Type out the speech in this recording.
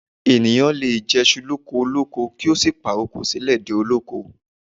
Ènìyàn lè jèṣu lókolóko kí ó sì pàrokò sílẹ̀ dé olóko